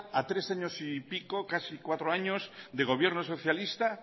a tres años y pico casi cuatro años de gobierno socialista